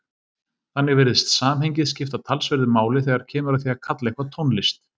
Þannig virðist samhengið skipta talsverðu máli þegar kemur að því að kalla eitthvað tónlist.